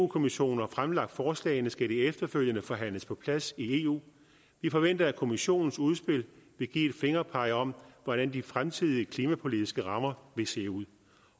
kommissionen har fremlagt forslagene skal de efterfølgende forhandles på plads i eu vi forventer at kommissionens udspil vil give et fingerpeg om hvordan de fremtidige klimapolitiske rammer vil se ud